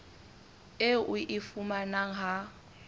eo o e fumanang ha